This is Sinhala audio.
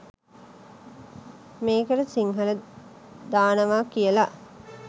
මේකට සිංහල දානවා කියලා.